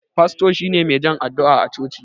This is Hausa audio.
Fasto shine mai jan addu'a a coci.